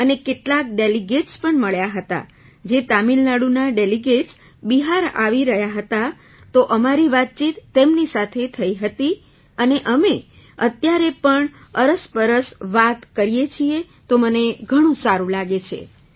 અને કેટલાક ડેલિગેટ્સ પણ મળ્યાં હતાં જે તમિલનાડુના ડેલિગેટ્સ બિહાર આવી રહ્યાં હતાં તો અમારી વાતચીત તેમની સાથે થઈ હતી અને અમે અત્યારે પણ અરસપરસ વાત કરીએ છીએ તો મને ઘણું સારું લાગે છે